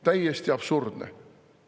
Täiesti absurdne.